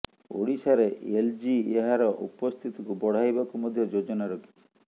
ଓଡ଼ିଶାରେ ଏଲ୍ଜି ଏହାର ଉପସ୍ଥିତିକୁ ବଢ଼ାଇବାକୁ ମଧ୍ୟ ଯୋଜନା ରଖିଛି